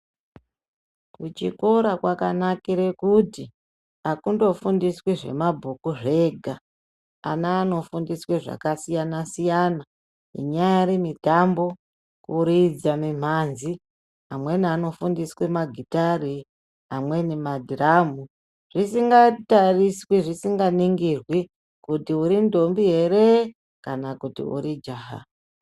Kuchikora kwakanakire kuti hakundofundiswi zvemabhuku zvega, ana anofundiswe zvakasiyana-siyana. Inyaari mitambo, kuridza mimhanzi, amweni anofundiswe magitare, amweni madhiramu. Zvisingatariswi, zvisinganingirwi kuti urindombi here kana kuti urijaha.